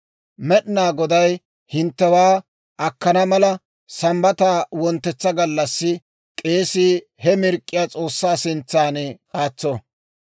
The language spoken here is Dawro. Med'inaa Goday hinttewaa akkana mala, Sambbata wonttetsa gallassi k'eesii he mirk'k'iyaa S'oossaa sintsan k'aatso.